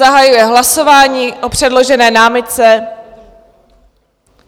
Zahajuji hlasování o předložené námitce.